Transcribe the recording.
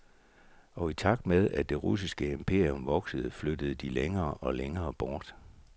Og i takt med, at det russiske imperium voksede, flyttede de længere og længere bort.